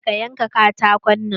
ka da ka yanka katakon nan!